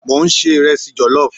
Mo n se iresi jellof